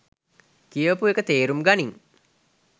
කියවපු එක තේරුම් ගනින්